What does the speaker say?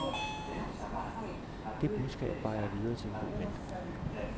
Det budskab bar jeg videre til en god ven.